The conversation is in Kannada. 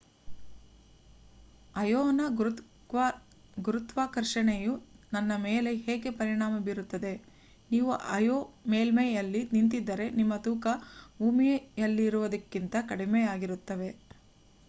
ಅಯೋನ ಗುರುತ್ವಾಕರ್ಷಣೆಯು ನನ್ನ ಮೇಲೆ ಹೇಗೆ ಪರಿಣಾಮ ಬೀರುತ್ತದೆ ನೀವು ಅಯೋ ಮೇಲ್ಮೈಯಲ್ಲಿ ನಿಂತಿದ್ದರೆ ನಿಮ್ಮ ತೂಕ ಭೂಮಿಯಲ್ಲಿರುವುದಕ್ಕಿಂತ ಕಡಿಮೆಯಾಗಿರುತ್ತದೆ